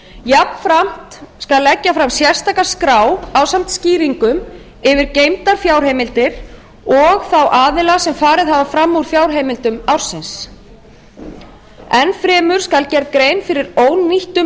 jafnframt skal leggja fram sérstaka skrá ásamt skýringum yfir geymdar fjárheimildir og þá aðila sem farið hafa fram úr fjárheimildum ársins enn fremur skal gerð grein fyrir ónýttum